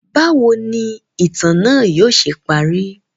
Bawo ni itan naa yóò ṣe pari?